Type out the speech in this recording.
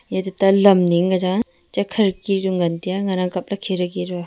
e tuta ning ka chang a cha khirki chu ngan ang tai a ngan ang kap ley khiridki.